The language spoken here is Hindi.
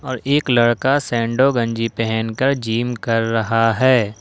और एक लड़का सैंडो गंजी पहनकर जिम कर रहा है।